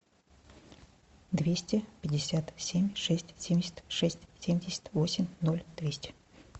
двести пятьдесят семь шесть семьдесят шесть семьдесят восемь ноль двести